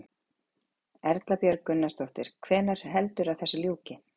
Erla Björg Gunnarsdóttir: Hvenær heldurðu að þessu ljúki?